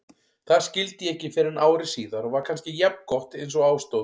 Það skildi ég ekki fyrren ári síðar og var kannski jafngott einsog á stóð.